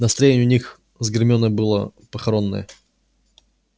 настроение у них с гермионой было похоронное